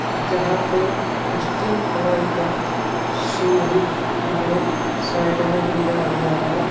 जहां पे steel colour का सीढी में साइड में दिया हुआ है.